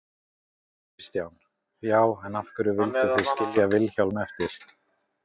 Kristján: Já, en af hverju vildu þið skilja Vilhjálm eftir?